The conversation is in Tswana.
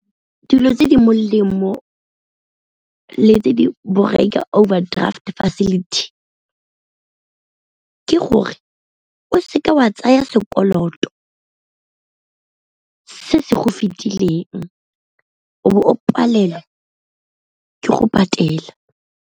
Dilo tse di molemo mo le tse di borai ka overdraft facility ke gore, o seke wa tsaya sekoloto se se go fetileng o bo o palelwa ke go patela.